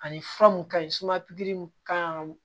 Ani fura mun ka ɲi suma pikiri kan ka